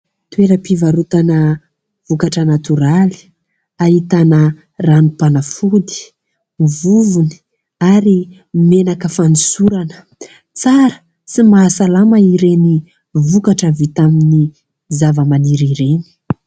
Toeram-pivarotana vokatra natoraly ahitana ranom-panafody vovony ary menaka fanosorana tsara sy mahasalamana ireny vokatra vita amin'ny zavamaniry ireny